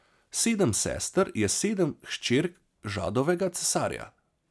Sedem sester je sedem hčerk Žadovega cesarja.